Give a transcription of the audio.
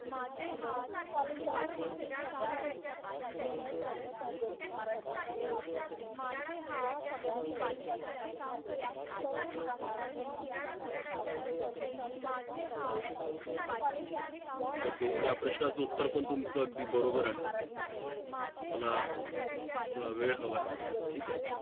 ok या प्रश्नाचे उत्तर पण तुमचं अगदी बरोबर आहे मला थोडा वेळ हवा आहे ठीक आहे